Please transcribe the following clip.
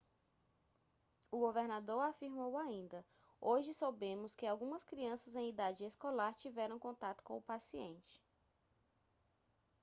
o governador afirmou ainda hoje soubemos que algumas crianças em idade escolar tiveram contato com o paciente